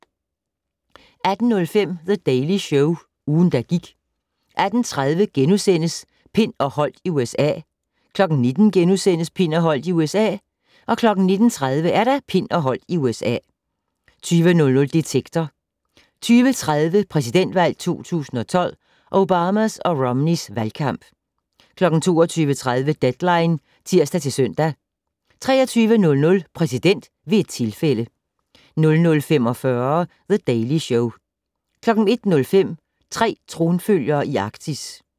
18:05: The Daily Show - ugen, der gik 18:30: Pind og Holdt i USA * 19:00: Pind og Holdt i USA * 19:30: Pind og Holdt i USA 20:00: Detektor 20:30: Præsidentvalg 2012: Obamas og Romneys valgkamp 22:30: Deadline (tir-søn) 23:00: Præsident ved et tilfælde 00:45: The Daily Show 01:05: Tre tronfølgere i Arktis